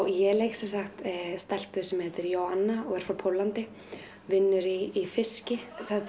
ég leik stelpu sem heitir Joanna og er frá Póllandi vinnur í fiski þetta